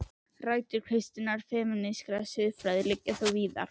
Rætur kristinnar femínískrar siðfræði liggja þó víðar.